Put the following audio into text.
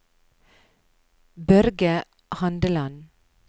Børge Handeland